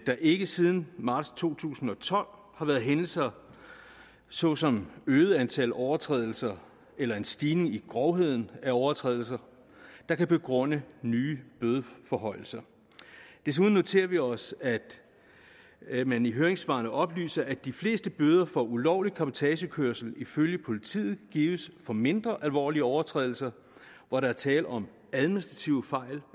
der ikke siden marts to tusind og tolv har været hændelser såsom et øget antal overtrædelser eller en stigning i grovheden af overtrædelserne der kan begrunde nye bødeforhøjelser desuden noterer vi os at man i høringssvarene oplyser at de fleste bøder for ulovlig cabotagekørsel ifølge politiet gives for mindre alvorlige overtrædelser hvor der er tale om administrative fejl